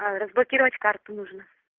разблокировать карту нужно